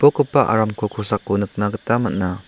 aramko kosako nikna gita man·a.